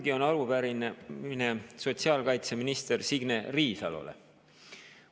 Ka mul on arupärimine sotsiaalkaitseminister Signe Riisalole.